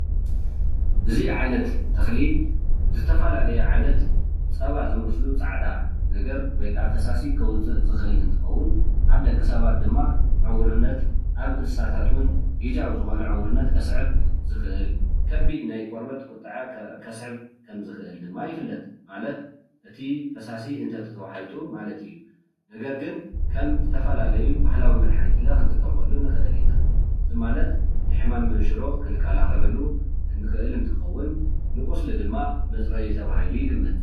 እዚ ዓይነት ተክሊ ዝተፈላለዩ ዓይነት ፀባ ዝመስሉ ፃዕዳ ነገር ወይ ከዓ ፈሳሲ ከውፅእ ዝክእል እንትከውን ኣብ ደቂ ሰባት ድማ ዕውርነት ኣብ እንስሳታት እውን ግዝያዊ ዝኮነ ዕውርነት ከስዕብ ዝክእል ከቢድ ናይ ቆርበት ቁጠዐ ከስዕብ ከም ዝክእል ድማ ይፍለጥ፡፡ ማለት እቲ ፋሳሲ እንተተዋሑጡ ማለት እዩ፡፡ ነገር ግን ከም ዝተፈላለዩ ባህላዊ መድሓኒት ክንጥቀመሉ ንክእል ኢና፡፡ እዚ ማለት ሕማም መንሽሮ ክንከላከለሉ ንክእል እንትከውን ንቁስሊ ድማ መፅረይ ተባሂሉ ይግመት፡፡